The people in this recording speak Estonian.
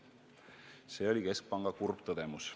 See oli keskpanga kurb tõdemus.